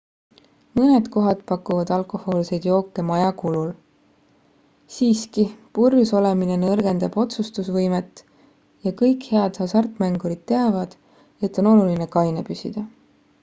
mõned kohad pakuvad alkohoolseid jooke maja kulul siiski purjus olemine nõrgendab otsustusvõimet ja kõik head hasartmängurid teavad et on oluline kaine püsida